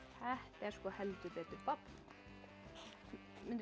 er heldur betur babb mundirðu